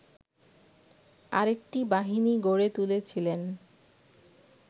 আরেকটি বাহিনী গড়ে তুলেছিলেন